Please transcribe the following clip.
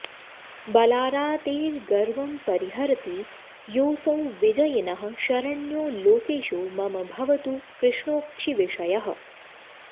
बलारातेर्गर्वं परिहरति योऽसौ विजयिनः शरण्यो लोकेशो मम भवतु कृष्णोऽक्षिविषयः